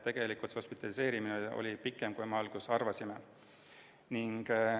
Tegelikult oli hospitaliseerimine pikem, kui alguses arvasime.